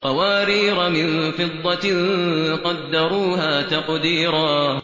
قَوَارِيرَ مِن فِضَّةٍ قَدَّرُوهَا تَقْدِيرًا